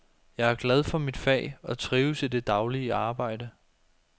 Jeg er glad for mit fag og trives i det daglige arbejde.